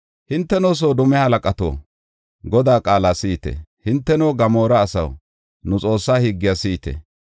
Hinteno, Soodome halaqato, Godaa qaala si7ite! Hinteno, Gamoora asaw, nu Xoossa higgiya si7ite!